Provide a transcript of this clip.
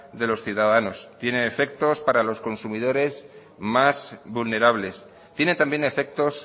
de los ciudadanos tiene efectos para los consumidores más vulnerables tiene también efectos